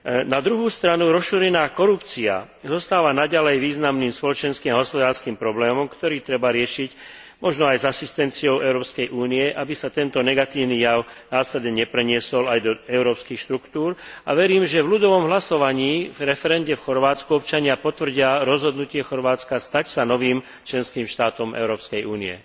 Na druhej strane, rozšírená korupcia zostáva naďalej významným spoločenským a hospodárskym problémom, ktorý treba riešiť možno aj s asistenciou Európskej únie, aby sa tento negatívny jav následne nepreniesol aj do európskych štruktúr, a verím, že v ľudovom hlasovaní, v referende v Chorvátsku občania potvrdia rozhodnutie Chorvátska stať sa novým členským štátom Európskej únie.